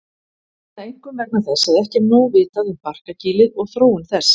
Er það einkum vegna þess að ekki er nóg vitað um barkakýlið og þróun þess.